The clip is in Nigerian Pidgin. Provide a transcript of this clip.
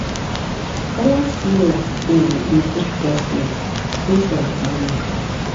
balanced meal dey improve breast milk based on mama need.